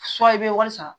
i bɛ wari sara